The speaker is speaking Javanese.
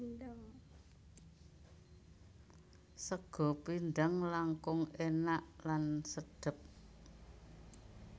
Sega pindhang langkung enak lan sedep